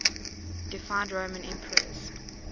deified roman emperors